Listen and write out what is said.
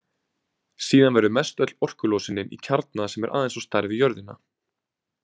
Síðan verður mestöll orkulosunin í kjarna sem er aðeins á stærð við jörðina.